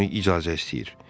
Yeddi günlük icazə istəyir.